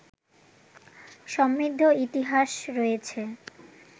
সমৃদ্ধ ইতিহাস রয়েছে